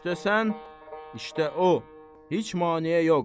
İşdə sən, işdə o, heç maneə yox.